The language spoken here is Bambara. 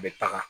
A bɛ taga